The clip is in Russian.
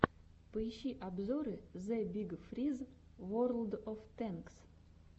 поищи обзоры зэ биг фриз ворлд оф тэнкс